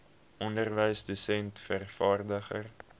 onderwyser dosent vervaardiger